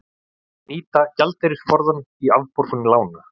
Nýta gjaldeyrisforðann í afborgun lána